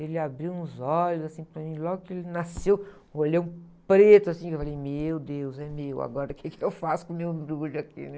Ele abriu uns olhos assim para mim, logo que ele nasceu, um olhão preto assim, eu falei, meu Deus, é meu, agora o que eu faço com o meu embrulho aqui, né?